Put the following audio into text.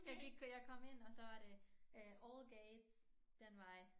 Jeg gik jeg kom ind og så var det all gates den vej